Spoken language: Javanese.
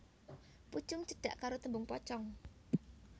Pucung cedhak karo tembung pocong